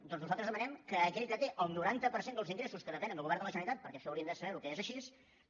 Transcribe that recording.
doncs nosaltres demanem que aquell que té el noranta per cent dels ingressos que depenen del govern de la generalitat perquè això haurien de saber que és així